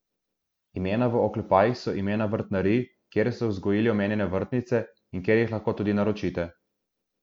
Imena v oklepajih so imena vrtnarij, kjer so vzgojili omenjene vrtnice in kjer jih lahko tudi naročite.